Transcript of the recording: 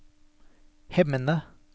Hemne